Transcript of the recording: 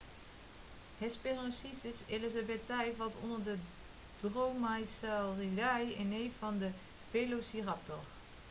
hesperonychus elizabethae valt onder de dromaeosauridae een neef van de velociraptor